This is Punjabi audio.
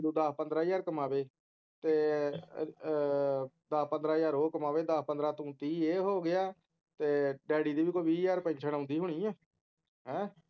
ਪੰਦਰਾਂ ਹਜ਼ਾਰ ਕਮਾਵੇ ਤੇ ਅਹ ਦਸ ਪੰਦਰਾਂ ਹਜ਼ਾਰ ਉਹ ਕਮਾਵੇ ਦਸ ਪੰਦਰਾਂ ਤੂੰ ਤੀਹ ਏ ਹੋ ਗਿਆ ਡੈਡੀ ਦੀ ਵੀ ਕੋਈ ਵੀਹ ਹਜ਼ਾਰ ਪੈਨਸ਼ਨ ਆਉਂਦੀ ਹੋਣੀ ਹੈ ਹੈਂ